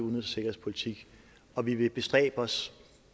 og sikkerhedspolitik og vi vil bestræbe os